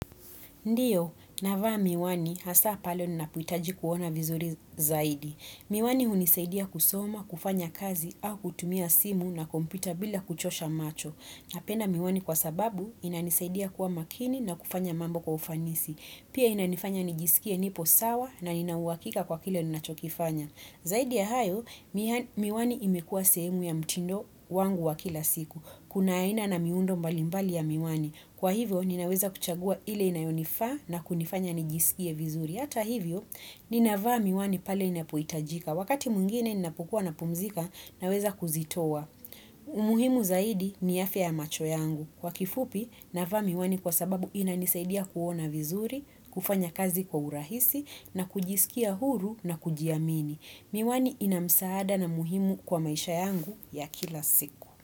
Ndiyo, navaa miwani hasa pale ninapo itaji kuona vizuri zaidi. Miwani hunisaidia kusoma, kufanya kazi au kutumia simu na kompyuta bila kuchosha macho. Napenda miwani kwa sababu inanisaidia kuwa makini na kufanya mambo kwa ufanisi. Pia inanifanya nijisikie nipo sawa na nina uwakika kwa kile nachokifanya. Zaidi ya hayo, miwani imekua sehemu ya mtindo wangu wa kila siku. Kuna aina na miundo mbali mbali ya miwani. Kwa hivyo, ninaweza kuchagua ile inayonifaa na kunifanya nijisikie vizuri. Hata hivyo, ninavaa miwani pale inapoitajika. Wakati mwingine inapukua napumzika, naweza kuzitoa. Umuhimu zaidi ni afya ya macho yangu kwa kifupi navaa miwani kwa sababu inanisaidia kuona vizuri, kufanya kazi kwa urahisi na kujisikia huru na kujiamini. Miwani inamsaada na muhimu kwa maisha yangu ya kila siku.